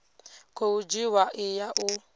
khou dzhiwa i ya u